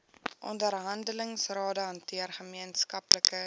onderhandelingsrade hanteer gemeenskaplike